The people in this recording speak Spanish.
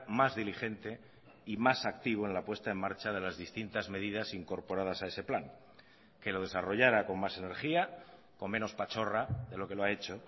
más diligente y más activo en la puesta en marcha de las distintas medidas incorporadas a ese plan que lo desarrollara con más energía con menos pachorra de lo que lo ha hecho